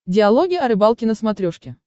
диалоги о рыбалке на смотрешке